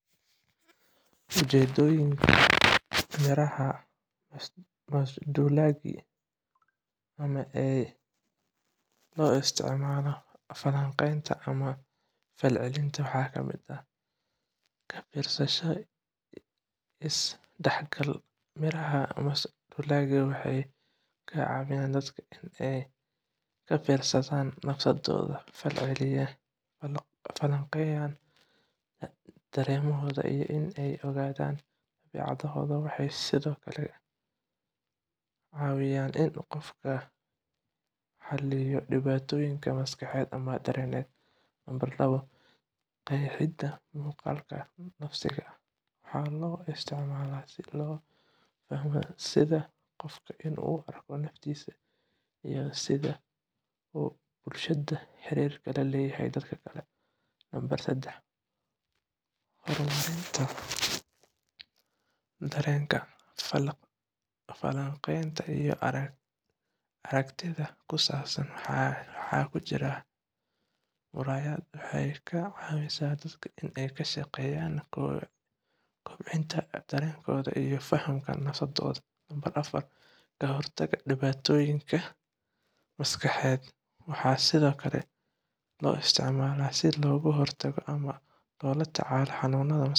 Ujeedooyinka miraaha masduulaagi (ama ee loo isticmaalo falanqaynta ama falcelinta) waxaa kamid ah: Ka fiirsasho iyo is-dhexgal: Miraaha masduulaagi waxay ka caawiyaan dadka inay ka fiirsadaan naftooda, falanqeeyaan dareemahooda, iyo inay ogaadaan dabeecadooda. Waxay sidoo kale caawiyaan in qofku xalliyo dhibaatooyin maskaxeed ama dareen ah. Qeexida muuqaalka nafsiga ah: Waxaa loo isticmaalaa si loo fahmo sida qofku uu u arko naftiisa iyo sida uu bulshada iyo xiriirka la leeyahay dadka kale. Horumarinta dareenka: Falanqaynta iyo aragtida ku saabsan waxa ku jira muraayadda waxay ka caawisaa dadka inay ka shaqeeyaan kobcinta dareenadooda iyo fahamka nafsadooda. Ka hortagga dhibaatooyinka maskaxeed: Waxaa sidoo kale loo isticmaalaa si looga hortago ama loola tacaalo xanuunnada maskaxeed